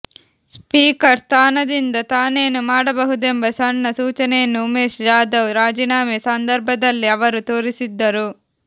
speaker ಸ್ಥಾನದಿಂದ ತಾನೇನು ಮಾಡಬಹುದೆಂಬ ಸಣ್ಣ ಸೂಚನೆಯನ್ನು ಉಮೇಶ್ ಜಾಧವ್ ರಾಜೀನಾಮೆ ಸಂದರ್ಭದಲ್ಲೇ ಅವರು ತೋರಿಸಿದ್ದರು